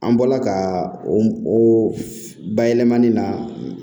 An bɔla ka o bayɛlɛmani na